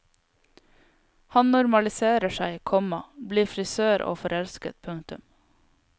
Han normaliserer seg, komma blir frisør og forelsket. punktum